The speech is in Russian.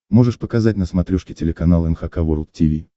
можешь показать на смотрешке телеканал эн эйч кей волд ти ви